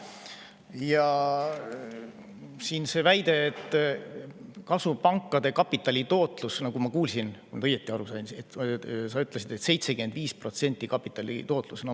Ja see väide pankade kapitalitootluse kohta: kui ma õigesti aru sain, siis sa ütlesid, et kapitalitootlus on 75%.